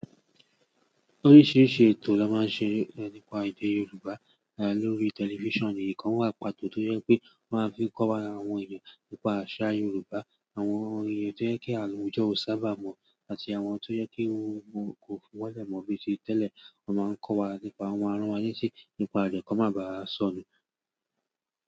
Oríṣiríṣi ètò ló máa ń ṣẹ nípa èdè Yorùbá ló rí tẹlifísàn. Ìdì kan wà pàtó tó yẹ pé wọ́n máa ń fi kọ́ wa àwọn ènìyàn nípa àṣà Yorùbá, àwọn ohun ètò tó jẹ́ kí àwọn àwùjọ ò sábà mọ̀ àti àwọn tó jẹ́ kí ohun òkòó wọlé mọ bíi ti tẹ́lẹ̀. Wọ́n máa ń kọ́ wa nípa àwọn, wọ́n maa ń rán wa létí, nípa rẹ̀ kó máa baà sọnù.